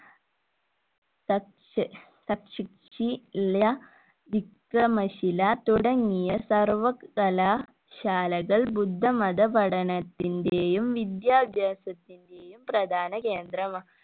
തുടങ്ങിയ സർവ്വകലാശാലകൾ ബുദ്ധമത പഠനത്തിന്റേയും വിദ്യാഭാസ്യത്തിന്റേയും പ്രധാന കേന്ദ്ര